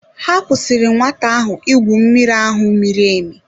Ha kwụsịrị nwata ahụ igwu mmiri ahụ miri emi.